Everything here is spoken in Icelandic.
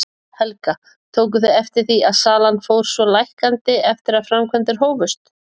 Helga: Tóku þið eftir því að salan fór svona lækkandi eftir að framkvæmdir hófust?